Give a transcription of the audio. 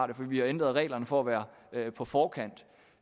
det for vi har ændret reglerne for at være på forkant